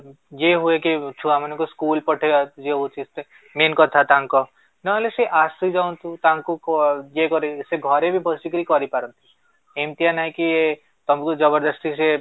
ଇଏ ହୁଏକି ଛୁଆମାନଙ୍କୁ ସ୍କୁଲ ପଠେଇବା ଇଏ ହଉଚି main କଥା ତାଙ୍କ ନହେଲେ ସେ ଆସିଯାଆନ୍ତୁ ତାଙ୍କୁ ଇଏ କରିକି ସେ ଘରେ ବି ବସିକରି କରିପାରନ୍ତି, ଏମିତିଆ ନାହିଁ କି ତମକୁ ଜବରଦସ୍ତି ସେ